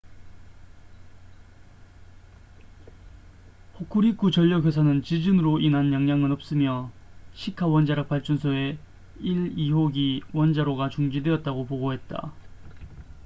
호쿠리쿠 전력 회사는 지진으로 인한 영향은 없으며 시카 원자력 발전소의 1 2호기 원자로가 중지되었다고 보고했다